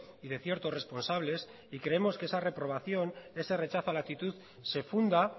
y de ciertos responsables y creemos que esa reprobación ese rechazo a la actitud se funda